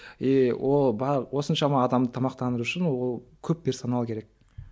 и ол бар осыншама адамды тамақтандыру үшін ол көп персонал керек